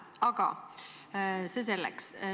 Aga see selleks.